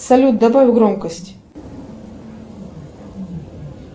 салют добавь громкость